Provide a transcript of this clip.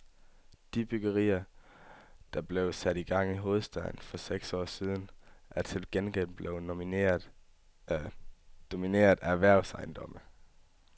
De byggerier, der blev sat i gang i hovedstaden i for seks år siden, er til gengæld domineret af erhvervsejendomme.